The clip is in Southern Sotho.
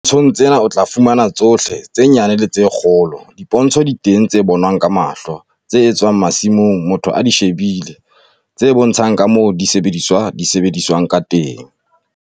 Dipontshong tsena o tla fumana tsohle, tse nyane le tse kgolo. Dipontsho di teng tse bonwang ka mahlo, tse etswang masimong motho a di shebile, tse bontshang ka moo disebediswa di sebediswang ka teng.